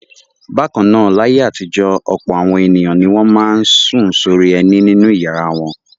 Bákan náà, láyé àtijọ́ ọ̀pọ̀ àwọn ènìyàn ni wọ́n máa ń sùn sórí ẹní nínú ìyàrá wọn.